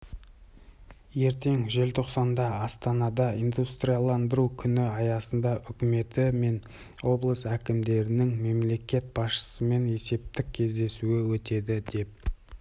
ертең желтоқсанда астанада индустрияландыру күні аясында үкіметі мен облыс әкімдерінің мемлекет басшысымен есептік кездесуі өтеді деп